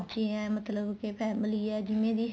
ਬੱਚੇ ਏ ਮਤਲਬ ਕੇ family ਏ ਜਿਵੇਂ ਵੀ